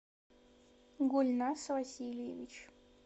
гульназ васильевич